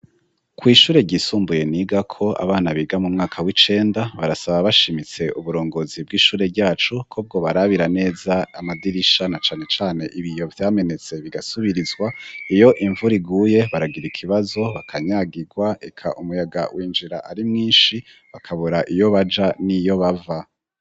Kw ishure ryisumbuye niga ko abana biga mu mwaka w'icenda barasaba bashimitse uburongozi bw'ishure ryacu ko bwo barabira neza amadirisha na cane cane ibiyo vyamenetse bigasubirizwa iyo imvura iguye baragira ikibazo bakanyagigwa reka umuyaga w'injira ari mwinshi bakabura iyo baja niyo bava.